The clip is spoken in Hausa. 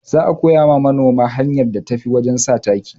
Za a koya ma manoma hanyar da tafi wajen sa taki